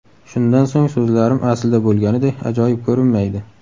Shundan so‘ng so‘zlarim aslida bo‘lganiday ajoyib ko‘rinmaydi.